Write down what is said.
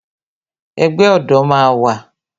Ẹgbẹ́ ọ̀dọ̀ máa wà